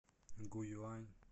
гуюань